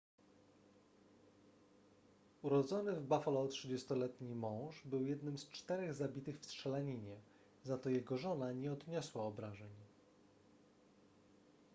urodzony w buffalo 30-letni mąż był jednym z czterech zabitych w strzelaninie za to jego żona nie odniosła obrażeń